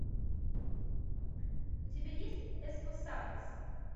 у тебя есть эспосадос